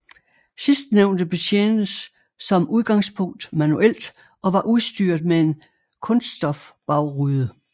Sidstnævnte betjentes som udgangspunkt manuelt og var udstyret med en kunststofbagrude